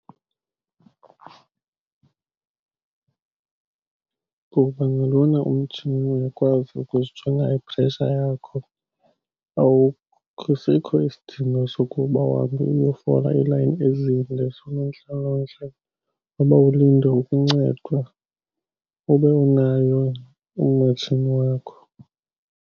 Ngoba ngalona umtshini uyakwazi ukuzijonga i-pressure yakho, asikho isidingo sokuba uhambe uyofola iilayini ezinde zoonontlalontle uba ulinde ukuncedwa, ube unayo wena umatshini wakho.